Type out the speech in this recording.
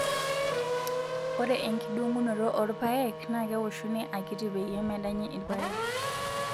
Ore enkidong'unoto oorpaek naa kewoshuni akitii peyie medanyi irpaek.